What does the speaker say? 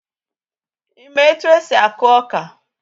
Ị́ mà etu esi aku ọka?